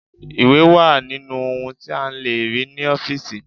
Ìwé wà nínú ohun tí a lè rí ní ọ́fíìsì.